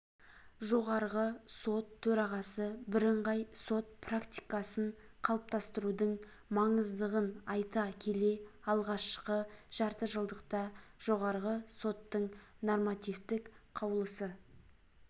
жоғарғы сот төрағасы бірыңғай сот практикасын қалыптастырудың маңыздығын айта келе алғашқы жартыжылдықта жоғарғы соттың нормативтік қаулысы